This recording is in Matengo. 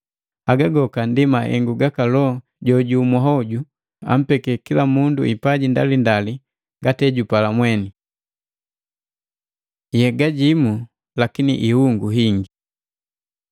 Haga goka ndi mahengu gaka Loho jo jumu hoju, ampeke kila mundu kipaji topauti, ngati ejupala mweni. Yega jimu lakini ihungu hingi